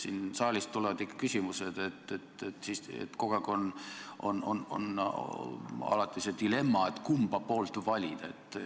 Siit saalist tulevad ikka küsimused, et kogu aeg on alati see dilemma, kumba poolt valida.